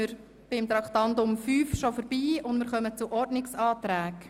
Wir kommen damit zur Behandlung der Ordnungsanträge.